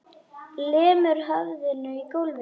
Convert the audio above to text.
Lemur höfðinu í gólfið.